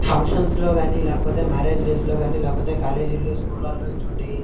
ఫంక్షన్లో గాని లేకపోతే మ్యారేజ్ లో గాని లేకపోతే కాలేజీ లో స్కూల్ లో --